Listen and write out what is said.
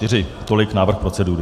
Tolik návrh procedury.